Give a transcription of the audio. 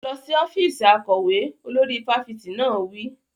Lọ sí ọ́fíìsì akọ̀wé! Olórí fáfitì náà wí.